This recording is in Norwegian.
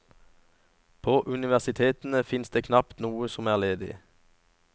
På universitetene finnes det knapt noe som er ledig.